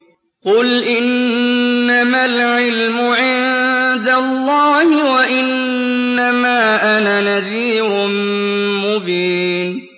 قُلْ إِنَّمَا الْعِلْمُ عِندَ اللَّهِ وَإِنَّمَا أَنَا نَذِيرٌ مُّبِينٌ